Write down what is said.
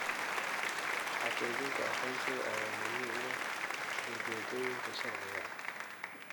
Xaqiijinta aqoonsiga ayaa muhiim u ah ujeedooyinka sharciga ah.